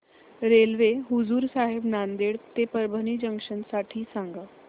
railway Hazur Sahib Nanded ते Parbhani junction साठी सांगा